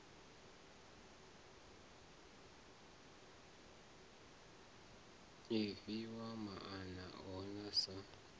i fhiwa maana ohe sa